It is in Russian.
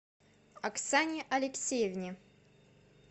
оксане алексеевне